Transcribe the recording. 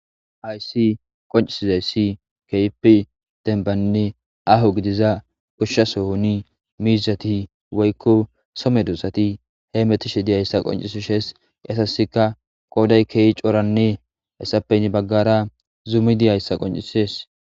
Haysi qoncisizayssi kehipe denbanne aho gidiza goshshasoni miizati woykko so medosati hemetishe dizayssa qoncisishees hasasika qooday keehi coranne hessape heen baggara zuumi de'ayssa qoncisees